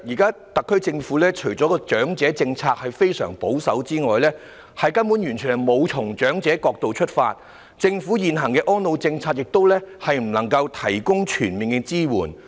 主席，特區政府現時的長者政策除了非常保守，更完全沒有從長者的角度出發，針對他們的需要；政府現行安老政策亦未能提供全面支援。